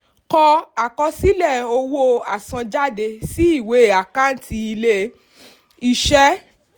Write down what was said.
kọ àkọsílẹ̀ owó àsanjáde sí ìwé àkántì ilé-iṣẹ́.